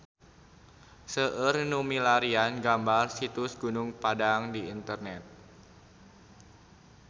Seueur nu milarian gambar Situs Gunung Padang di internet